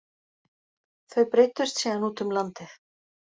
Þau breiddust síðan út um landið